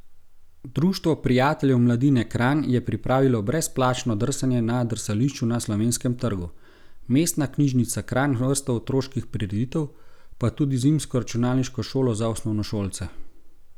Društvo prijateljev mladine Kranj je pripravilo brezplačno drsanje na drsališču na Slovenskem trgu, Mestna knjižnica Kranj vrsto otroških prireditev, pa tudi zimsko računalniško šolo za osnovnošolce.